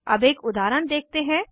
अब एक उदाहरण देखते हैं